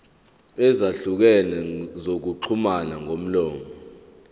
ezahlukene zokuxhumana ngomlomo